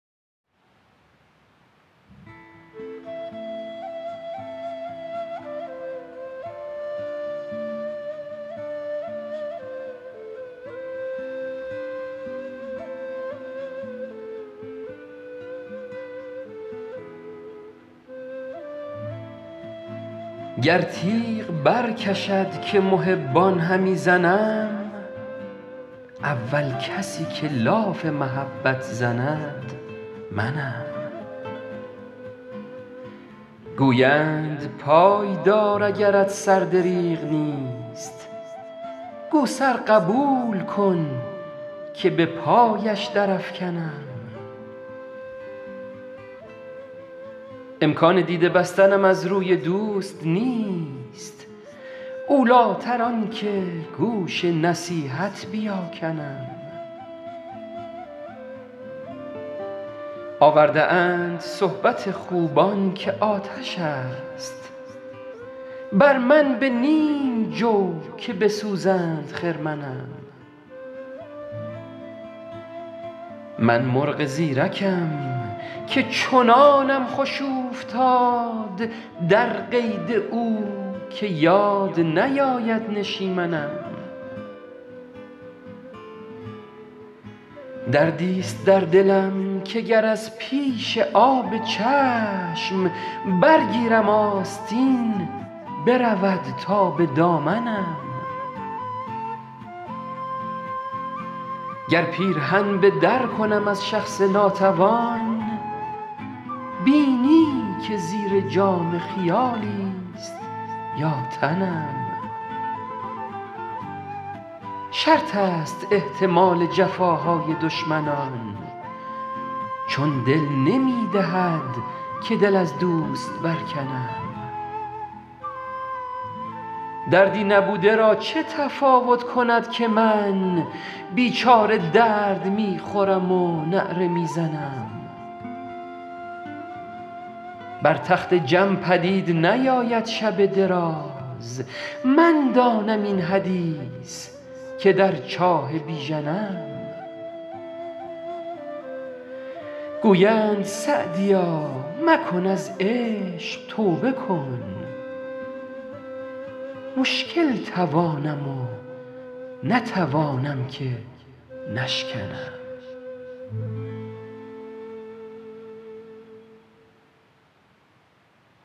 گر تیغ برکشد که محبان همی زنم اول کسی که لاف محبت زند منم گویند پای دار اگرت سر دریغ نیست گو سر قبول کن که به پایش درافکنم امکان دیده بستنم از روی دوست نیست اولیتر آن که گوش نصیحت بیاکنم آورده اند صحبت خوبان که آتش است بر من به نیم جو که بسوزند خرمنم من مرغ زیرکم که چنانم خوش اوفتاد در قید او که یاد نیاید نشیمنم دردیست در دلم که گر از پیش آب چشم برگیرم آستین برود تا به دامنم گر پیرهن به در کنم از شخص ناتوان بینی که زیر جامه خیالیست یا تنم شرط است احتمال جفاهای دشمنان چون دل نمی دهد که دل از دوست برکنم دردی نبوده را چه تفاوت کند که من بیچاره درد می خورم و نعره می زنم بر تخت جم پدید نیاید شب دراز من دانم این حدیث که در چاه بیژنم گویند سعدیا مکن از عشق توبه کن مشکل توانم و نتوانم که نشکنم